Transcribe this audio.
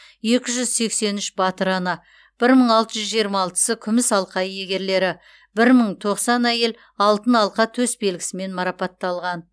екі жүз сексен үш батыр ана бір мың алты жүз жиырма алтыншысы күміс алқа иегерлері бір мың тоқсан әйел алтын алқа төсбелгісімен марапатталған